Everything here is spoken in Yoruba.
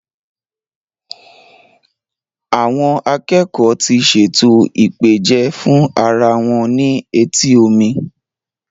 Àwọn akẹ́kọ́ọ̀ ti ṣètò ìpèjẹ fún ara wọn ní etí omi.